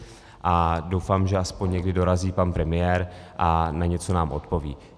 A doufám, že aspoň někdy dorazí pan premiér a na něco nám odpoví.